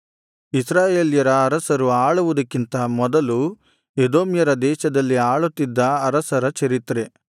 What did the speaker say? ಇಸ್ರಾಯೇಲ್ಯರ ಅರಸರು ಆಳುವುದಕ್ಕಿಂತ ಮೊದಲು ಎದೋಮ್ಯರ ದೇಶದಲ್ಲಿ ಆಳುತ್ತಿದ್ದ ಅರಸರ ಚರಿತ್ರೆ